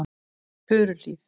Furuhlíð